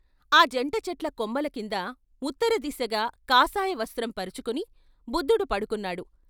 ఆ జంట చెట్ల కొమ్మలకింద ఉత్తరదిశగా కాషాయవస్త్రం పరుచుకుని బుద్ధుడు పడు కున్నాడు.